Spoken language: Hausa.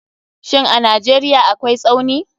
Shin Najeriya akwai Tsauni.